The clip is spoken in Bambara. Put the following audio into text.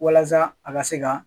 Walasa a ka se ka